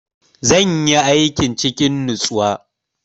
Zan yi aikin cikin natsuwa.